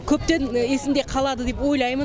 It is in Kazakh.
көптен есінде қалады деп ойлаймын